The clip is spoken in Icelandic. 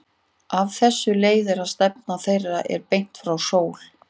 Af þessu leiðir að stefna þeirra er beint frá sól.